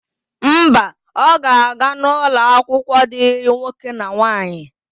Mba, ọ ga-aga n'ụlọakwụkwọ dịrị nwoke na nwaanyị.